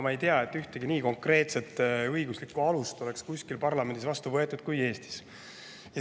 Ma ei tea, et ühtegi nii konkreetset õiguslikku alust oleks kuskil parlamendis vastu võetud kui Eestis.